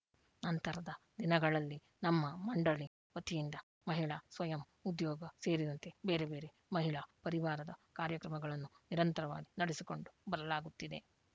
ನಂತರದ ದಿನಗಳಲ್ಲಿ ನಮ್ಮ ಮಂಡಳಿ ವತಿಯಿಂದ ಮಹಿಳಾ ಸ್ವಯಂ ಉದ್ಯೋಗ ಸೇರಿದಂತೆ ಬೇರೆಬೇರೆ ಮಹಿಳಾ ಪರಿವಾರದ ಕಾರ್ಯಕ್ರಮಗಳನ್ನು ನಿರಂತರವಾಗಿ ನಡೆಸಿಕೊಂಡು ಬರಲಾಗುತ್ತಿದೆ